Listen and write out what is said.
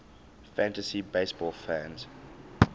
fantasy baseball fans